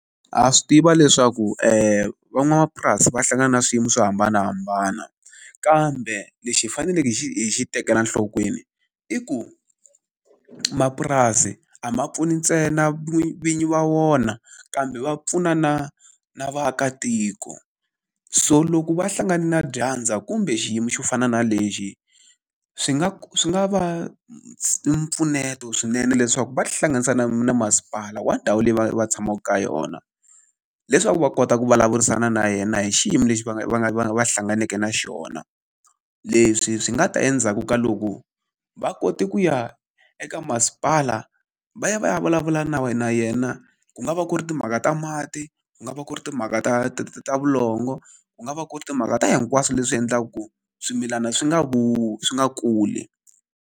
Ha swi tiva leswaku van'wamapurasi va hlangana na swiyimo swo hambanahambana, kambe lexi hi faneleke hi xi hi xi tekela nhlokweni i ku mapurasi a ma pfuni ntsena vinyi va wona kambe ma pfuna na na vaakatiko. So loko va hlangane na dyandza kumbe xiyimo xo fana na lexi, swi nga swi nga va mpfuneto swinene leswaku va ti hlanganisa na na masipala wa ndhawu leyi va va tshamaka ka yona. Leswaku va kota ku vulavurisana na yena hi xiyimo lexi va nga va nga va va hlanganake na xona. Leswi swi nga ta endzhaku ka loko va kote ku ya eka masipala va ya va ya a vulavula na yena ku nga va ku ri timhaka ta mati, ku nga va ku ri timhaka ta ta ta ta vulongo, ku nga va ku ri timhaka ta hinkwaswo leswi endlaka ku swimilana swi nga swi nga kuli.